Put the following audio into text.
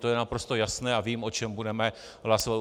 To je naprosto jasné a vím, o čem budeme hlasovat.